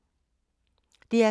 DR K